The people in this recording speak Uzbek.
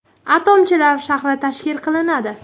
Atomchilar shahri tashkil qilinadi.